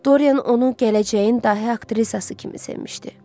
Dorian onu gələcəyin dahi aktrisası kimi sevmişdi.